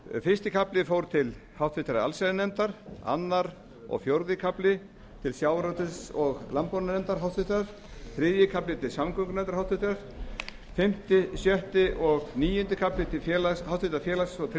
fyrsti kafli fór til háttvirtrar allsherjarnefndar annað og fjórði kafli til háttvirtrar sjávarútvegs og landbúnaðarnefndar þriðji kafli til háttvirtrar samgöngunefndar fimmta sjötta og níundi kafli til háttvirtrar félags og